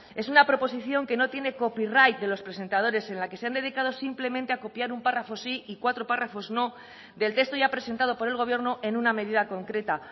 es una proposición que no tiene copyright de los presentadores en la que se han dedicado simplemente a copiar un párrafo sí y cuatro párrafos no del texto ya presentado por el gobierno en una medida concreta